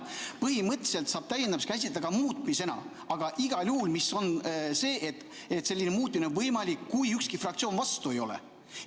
Põhimõtteliselt saab täiendamist käsitleda ka muutmisena, aga igal juhul on selline muutmine võimalik siis, kui ükski fraktsioon vastu ei ole.